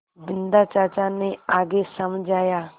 बिन्दा चाचा ने आगे समझाया